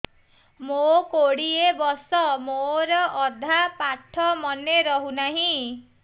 ମୋ କୋଡ଼ିଏ ବର୍ଷ ମୋର ଅଧା ପାଠ ମନେ ରହୁନାହିଁ